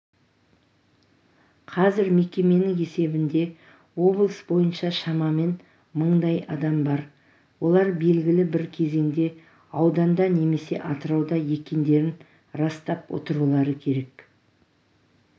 қазір мекеменің есебінде облыс бойынша шамамен мыңдай адам бар олар белгілі бір кезеңде ауданда немесе атырауда екендерін растап отырулары керек